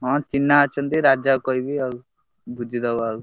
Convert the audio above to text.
ହଁ, ଚିହ୍ନା ଅଛନ୍ତି ରାଜାକୁ କହିବି ଆଉ ବୁଝିଦବ ଆଉ।